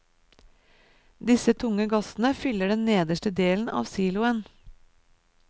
Disse tunge gassene fyller den nederste delen av siloen.